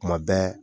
Kuma bɛɛ